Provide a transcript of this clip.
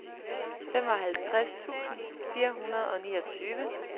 femoghalvtreds tusind fire hundrede og niogtyve